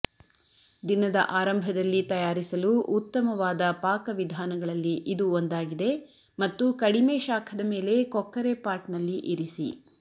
ದಿನದ ಆರಂಭದಲ್ಲಿ ತಯಾರಿಸಲು ಉತ್ತಮವಾದ ಪಾಕವಿಧಾನಗಳಲ್ಲಿ ಇದು ಒಂದಾಗಿದೆ ಮತ್ತು ಕಡಿಮೆ ಶಾಖದ ಮೇಲೆ ಕೊಕ್ಕರೆಪಾಟ್ನಲ್ಲಿ ಇರಿಸಿ